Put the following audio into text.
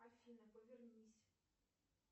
афина повернись